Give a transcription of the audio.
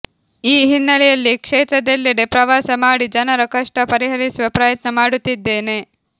ಈ ಹಿನ್ನೆಲೆಯಲ್ಲಿ ಕ್ಷೇತ್ರದೆಲ್ಲೆಡೆ ಪ್ರವಾಸ ಮಾಡಿ ಜನರ ಕಷ್ಟ ಪರಿಹರಿಸುವ ಪ್ರಯತ್ನ ಮಾಡುತ್ತಿದ್ದೇನೆ